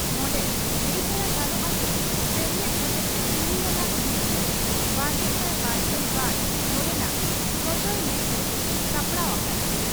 ᱱᱚᱰᱮ ᱞᱟᱹᱭ ᱛᱚᱨᱟ ᱜᱟᱱᱚᱜᱼᱟ ᱪᱤ, ᱥᱮᱢᱞᱮᱫ ᱦᱚᱛᱮᱛᱮ ᱛᱩᱨᱩᱭ ᱟᱱᱟᱜ ᱵᱤᱨᱥᱚᱲᱮᱼᱵᱟᱨᱜᱮᱥᱟᱭ ᱵᱟᱨᱜᱮᱞ ᱵᱟᱨ ᱱᱚᱸᱰᱮᱱᱟᱜ ᱥᱚᱸᱡᱚᱭ ᱞᱮᱠ ᱨᱮ ᱥᱟᱯᱲᱟᱣ ᱟᱠᱟᱱᱟ ᱾